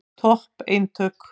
Topp eintök.